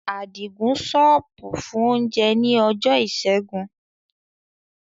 Adigun ṣọ́ọ̀bù fún oúnjẹ ní ọjọ́ Ìṣẹ́gun.